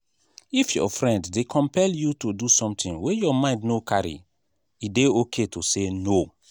if your friend dey compel you to do something wey your mind no carry e dey okay to say no